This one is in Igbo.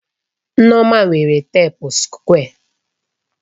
Nneoma nwere teepu sukwé.